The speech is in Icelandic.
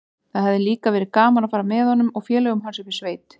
Það hefði líka verið gaman að fara með honum og félögum hans upp í sveit.